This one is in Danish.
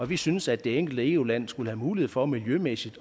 vi synes at det enkelte eu land skulle have mulighed for miljømæssigt